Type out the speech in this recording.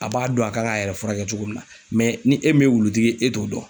A b'a dɔn a kan k'a yɛrɛ furakɛ cogo min na mɛ ni e min ye wulutigi ye e t'o dɔn